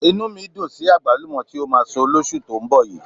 Inú mi ò dùn sí àgbálùmọ́ tí ó máa so lóṣù tó ń bọ̀ yìí